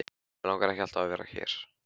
Mig langar ekki að vera alltaf hér.